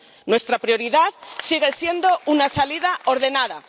Nuestra prioridad sigue siendo una salida ordenada.